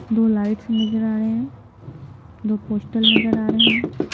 दो लाइट्स नजर आ रहे हैं दो पोस्टल नजर आ रहे हैं।